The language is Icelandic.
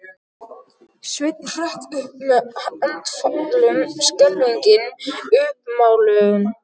Sveinn hrökk upp með andfælum, skelfingin uppmáluð.